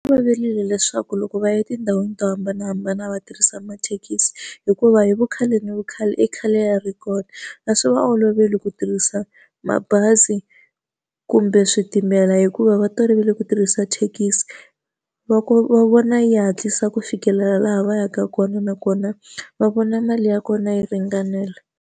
Swi fanerile leswaku loko va ya etindhawini to hambanahambana va tirhisa mathekisi, hikuva hi vu khale ni khale i khale ya ri kona. A swi va oloveli ku tirhisa mabazi kumbe switimela hikuva va tolovele ku tirhisa thekisi, va vona yi hatlisa ku fikelela laha va yaka kona nakona va vona mali ya kona yi ringanela.